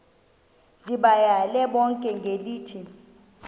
ndibayale bonke ngelithi